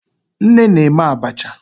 Nne na-eme abacha.